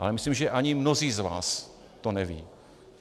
Ale myslím, že ani mnozí z vás to nevědí.